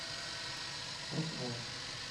артхаус